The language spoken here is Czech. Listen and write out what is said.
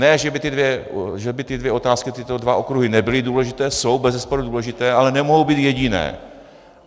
Ne že by ty dvě otázky, tyto dva okruhy nebyly důležité, jsou bezesporu důležité, ale nemohou být jediné.